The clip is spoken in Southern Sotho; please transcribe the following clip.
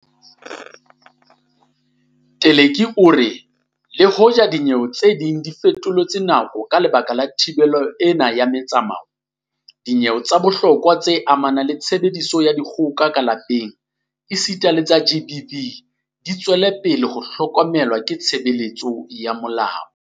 Teleki o re le hoja dinyewe tse ding di fetoletswe nako ka lebaka la thibelo ena ya metsamao, dinyewe tsa bohlokwa tse amanang le tshebediso ya dikgoka ka lapeng esita le tsa GBV di tswela pele ho hlokomelwa ke tshebeletso ya molao.